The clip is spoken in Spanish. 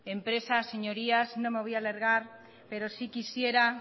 empresa señorías no me voy a alargar pero sí quisiera